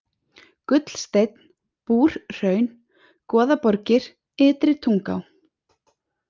Gullsteinn, Búrhraun, Goðaborgir, Ytri-Tunguá